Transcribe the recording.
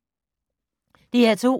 DR2